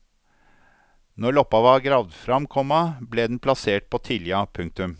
Når loppa var gravd fram, komma ble den plassert på tilja. punktum